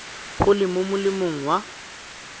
go le mo molemong wa